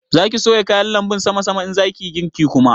Za ki soya kayan lanbun sama sama in za ki yi girki kuma?